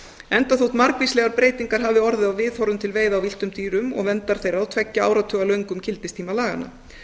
enda þótt margvíslegar breytingar hafi orðið á viðhorfum til veiða á villtum dýrum og verndar þeirra á tveggja áratuga löngum gildistíma laganna